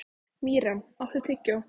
Mirjam, áttu tyggjó?